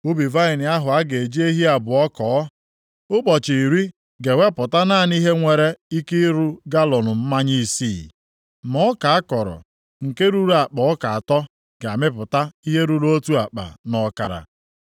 Ubi vaịnị ahụ a ga-eji ehi abụọ kọọ ụbọchị iri ga-ewepụta naanị ihe nwere ike iru galọọnụ mmanya isii, ma ọka a kọrọ, nke ruru akpa ọka atọ ga-amịpụta ihe ruru otu akpa nʼọkara.”